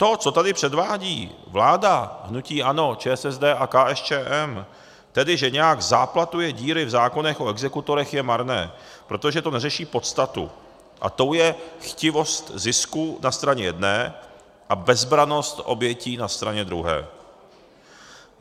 To, co tady předvádí vláda hnutí ANO, ČSSD a KSČM, tedy že nějak záplatuje díry v zákonech o exekutorech, je marné, protože to neřeší podstatu - a tou je chtivost zisku na straně jedné a bezbrannost obětí na straně druhé.